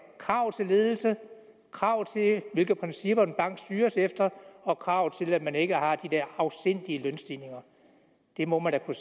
krav til ledelse krav til hvilke principper en bank styres efter og krav til at man ikke har de der afsindige lønstigninger det må man da kunne